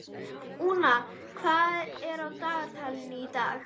Úna, hvað er á dagatalinu í dag?